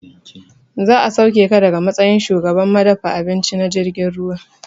Za a sauke ka daga matsayin shugaban madafa abinci na jirgin ruwa